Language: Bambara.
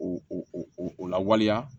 O o lawaleya